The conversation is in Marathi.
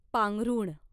पांघरुण